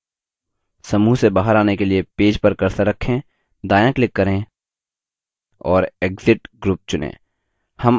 समूह से बाहर आने के लिए पेज पर cursor रखें दायाँ click करें और exit group चुनें